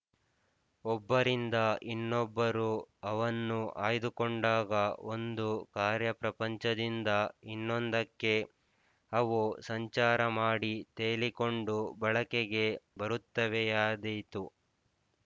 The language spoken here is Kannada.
ಒಬ್ಬರಿಂದ ಇನ್ನೊಬ್ಬರು ಅವನ್ನು ಆಯ್ದುಕೊಂಡಾಗ ಒಂದು ಕಾರ್ಯಪ್ರಪಂಚದಿಂದ ಇನ್ನೊಂದಕ್ಕೆ ಅವು ಸಂಚಾರಮಾಡಿ ತೇಲಿಕೊಂಡು ಬಳಕೆಗೆ ಬರುತ್ತವೆಯಾದೀತು